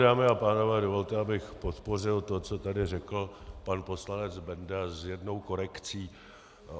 Dámy a pánové, dovolte, abych podpořil to, co tady řekl pan poslanec Benda, s jednou korekcí.